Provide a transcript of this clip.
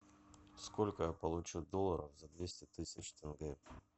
сколько я получу долларов за двести тысяч тенге